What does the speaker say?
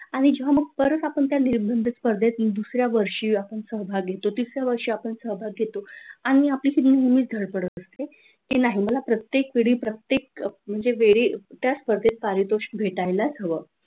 आणि मग तुला पण परत त्या निबंध स्पर्धेत दुसऱ्या वर्षी सहभाग घेतो, तिसऱ्या वर्षी आपण सहभाग घेतो, आणि आपली तशी नेहमीच धडपड असते की नाही मला प्रत्येक पीडी प्रत्येक म्हणजे वेळी त्या स्पर्धेत पारितोषिक मिळायलाच हवं.